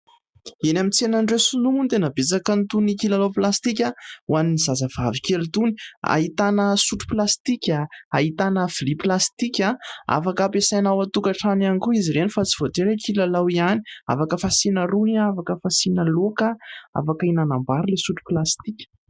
Eny amin'ny tsenan'ireo Sinoa moa tena betsaka itony kilalao plastika ho an'ny zazavavy kely itony. Ahitana sotro plastika, ahitana lovia plastika afaka ampiasaina ao an-tokantrano ihany koa izy ireny fa tsy voatery kilalao ihany. Afaka fasiana rony, afaka fasiana laoka, afaka hihinanam-bary ilay sotro plastika.